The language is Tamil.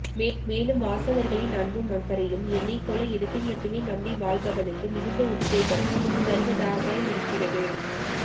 மேலும் வாசகர்களின் அன்பும் அக்கறையும் என்னைப் போல எழுத்தை மட்டுமே நம்பி வாழுபவனுக்கு மிகுந்த உத்வேகம் தருவதாகயிருக்கிறது